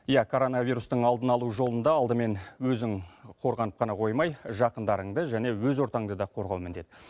иә коронавирустың алдын алу жолында алдымен өзің қорғанып қана қоймай жақындарыңды және өз ортаңды да қорғау міндет